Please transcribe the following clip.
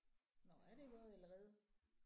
Nåh er det gået allerede?